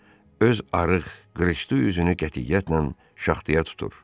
Öz arıq, qırışlı üzünü qətiyyətlə şaxtaya tutur.